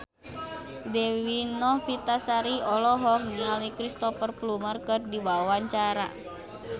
Dewi Novitasari olohok ningali Cristhoper Plumer keur diwawancara